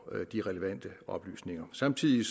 de relevante oplysninger samtidig